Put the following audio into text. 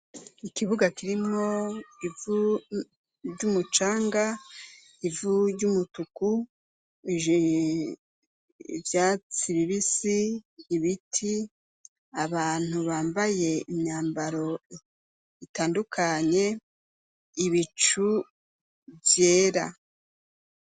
Ikibuga kirimwo ivu vy'umucanga ivu ry'umutuku j vya siribisi ibiti abantu bambaye imyambaro itandukanye ibicu vyera.